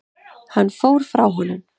Hann fór frá honum.